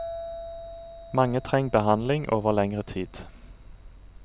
Mange treng behandling over lengre tid.